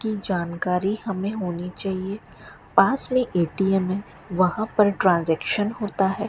की जानकारी हमे होनी चाहिए पास मे ए_टी_म है वहां पे ट्रांजेक्शन होता है।